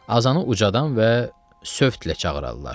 Azanı ucadan və sövtlə çağırırlar.